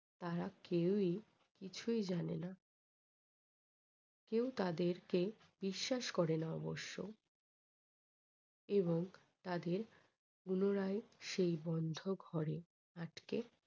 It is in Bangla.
তারা কেউই কিছুই জানেনা। কেউ তাদেরকে বিশ্বাস করে না অবশ্য। এবং তাদের পুনরায় সেই বন্ধ ঘরে আটকে রাখে।